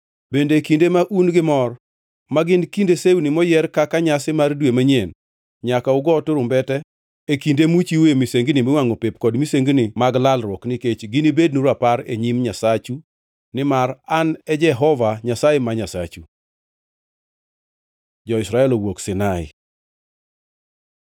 Bende e kinde ma un gi mor, ma gin kinde sewni moyier kaka nyasi mar Dwe Manyien, nyaka ugo turumbete e kinde muchiwoe misengini miwangʼo pep kod misengini mag lalruok, nikech ginibednu rapar e nyim Nyasachu nimar An e Jehova Nyasaye ma Nyasachu.” Jo-Israel owuok Sinai